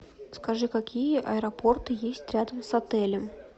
скажи какие аэропорты есть рядом с отелем